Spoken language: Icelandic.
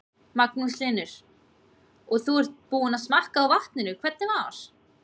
Magnús Hlynur: Og þú ert búinn að smakka á vatninu, hvernig var?